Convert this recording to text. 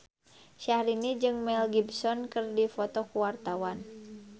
Syahrini jeung Mel Gibson keur dipoto ku wartawan